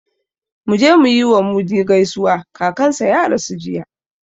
Mu je mu yi wa Mudi gaisuwa, kakansa ya rasu jiya